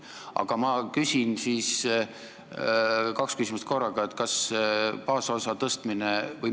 Aga ma küsin nüüd kaks küsimust korraga.